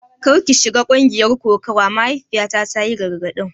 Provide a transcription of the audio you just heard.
Kar ki shiga ƙungiyar kokawa, mahaifiyata ta yi gargadin.